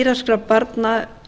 írakskra barna